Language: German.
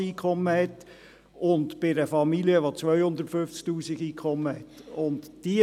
Von einem solchen Betrag wäre bei einer Familie ungefähr auszugehen, wenn dieses Postulat durchkäme.